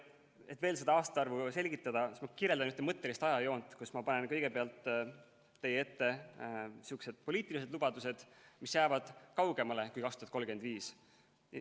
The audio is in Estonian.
Et veel seda aastaarvu selgitada, kirjeldan ühte mõttelist ajajoont, kus ma panen kõigepealt teie ette sihukesed poliitilised lubadused, mis jäävad kaugemale kui 2035.